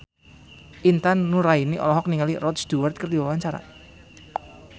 Intan Nuraini olohok ningali Rod Stewart keur diwawancara